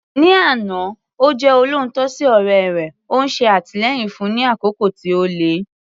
Ní àná, ó jẹ́ olóòótọ́ sí ọ̀rẹ́ rẹ̀, ó ń ṣe àtìlẹ́yìn fún un ní àkókò tí ó le.